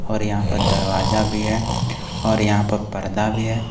और यहां पे दरवाजा भी है और यहां पे पर्दा भी है।